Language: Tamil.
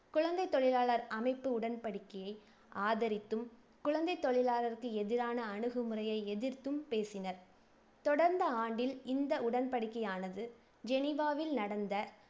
குழந்தைத் தொழிலாளர் அமைப்பு உடன்படிக்கையை ஆதரித்தும், குழந்தைத் தொழிலாளருக்கு எதிரான அணுகுமுறையை எதிர்த்தும் பேசினர். தொடர்ந்த ஆண்டில் இந்த உடன்படிக்கையானது ஜெனிவாவில் நடந்த